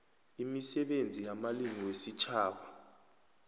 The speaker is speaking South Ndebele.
imisebenzi yamalimi wesitjhaba